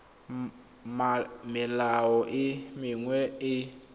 melao e mengwe e e